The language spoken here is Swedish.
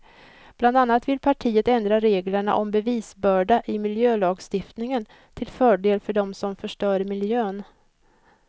Bland annat vill partiet ändra reglerna om bevisbörda i miljölagstiftningen till fördel för dem som förstör miljön.